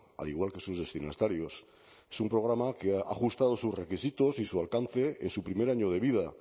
al igual que sus destinatarios es un programa que ha ajustado sus requisitos y su alcance en su primer año de vida